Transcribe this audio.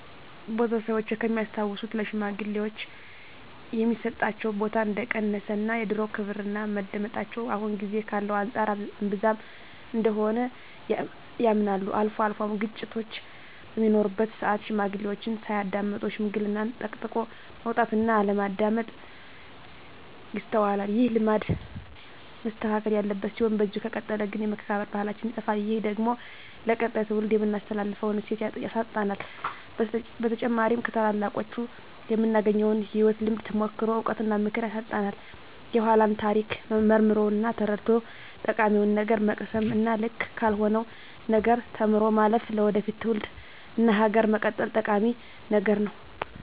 ቤተሰቦቼ ከሚያስታውሱት ለሽማግሌወች የሚሰጣቸው ቦታ እንደቀነሰ እና የድሮው ክብርና መደመጣቸው አሁን ጊዜ ካለው አንፃር እንብዛም እንደሆነ ያምናሉ። አልፎ አልፎም ግጭቶች በሚኖሩበት ስአት ሽማግሌዎችን ሳያዳምጡ ሽምግልናን ጠቅጥቆ መውጣት እና አለማዳመጥ ይስተዋላል። ይህ ልማድ መስተካከል ያለበት ሲሆን በዚህ ከቀጠለ ግን የመከባበር ባህላችን ይጠፋል። ይህ ደግሞ ለቀጣይ ትውልድ የምናስተላልፈውን እሴት ያሳጣናል። በተጨማሪም ከታላላቆቹ የምናገኘውን የህይወት ልምድ፣ ተሞክሮ፣ እውቀት እና ምክር ያሳጣናል። የኃላን ታሪክ መርምሮ እና ተረድቶ ጠቃሚውን ነገር መቅሰም እና ልክ ካልሆነው ነገር ተምሮ ማለፍ ለወደፊት ትውልድ እና ሀገር መቀጠል ጠቂሚ ነገር ነው።